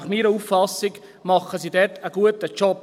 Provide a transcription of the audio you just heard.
Nach meiner Auffassung machen sie einen guten Job.